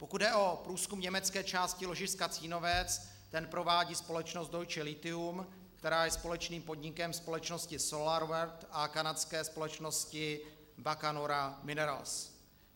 Pokud jde o průzkum německé části ložiska Cínovec, ten provádí společnost Deutsche Lithium, která je společným podnikem společnosti SolarWorld a kanadské společnosti Bacanora Minerals.